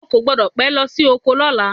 O kò gbọ́dọ̀ pé lọ sí oko lọ́la.